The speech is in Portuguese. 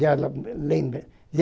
Já lembrei.